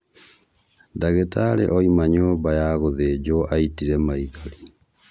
Ndagĩtarĩ ouma nyũmba ya gũthĩjwo aitire maithori.